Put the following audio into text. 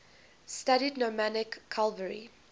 studied nomadic cavalry